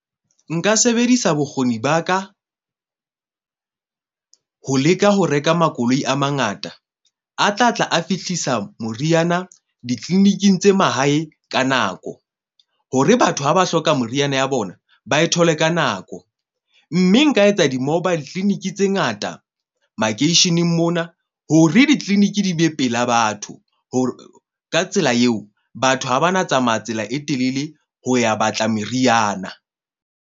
Nka sebedisa bokgoni ba ka ho leka ho reka makoloi a mangata, a tla tla a fihlisa moriana ditliliniking tse mahae ka nako. Hore batho ha ba hloka meriana ya bona, ba e thole ka nako. Mme nka etsa di-mobile clinic tse ngata makeisheneng mona ho re di-clinic di be pela batho. Ho ka tsela eo, batho ha ba na tsamaya tsela e telele ho ya batla meriana.